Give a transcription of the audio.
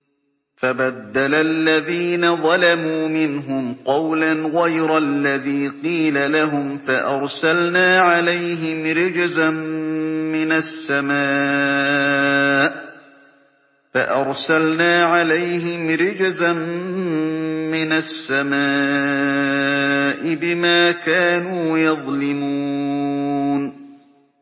فَبَدَّلَ الَّذِينَ ظَلَمُوا مِنْهُمْ قَوْلًا غَيْرَ الَّذِي قِيلَ لَهُمْ فَأَرْسَلْنَا عَلَيْهِمْ رِجْزًا مِّنَ السَّمَاءِ بِمَا كَانُوا يَظْلِمُونَ